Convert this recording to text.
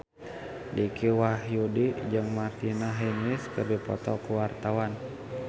Dicky Wahyudi jeung Martina Hingis keur dipoto ku wartawan